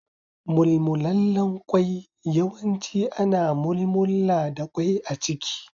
Mulmullalen kwai yawanci ana mulmulla da kwai a ciki.